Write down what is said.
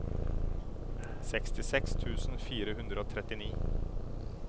sekstiseks tusen fire hundre og trettini